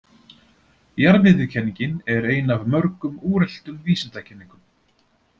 Jarðmiðjukenningin er ein af mörgum úreltum vísindakenningum.